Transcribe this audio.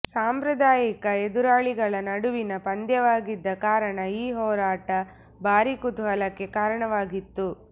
ಸಾಂಪ್ರದಾಯಿಕ ಎದುರಾಳಿಗಳ ನಡುವಿನ ಪಂದ್ಯವಾಗಿದ್ದ ಕಾರಣ ಈ ಹೋರಾಟ ಭಾರಿ ಕುತೂಹಲಕ್ಕೆ ಕಾರಣವಾಗಿತ್ತು